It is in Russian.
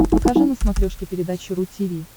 покажи на смотрешке передачу ру ти ви